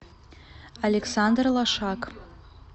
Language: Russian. александр лошак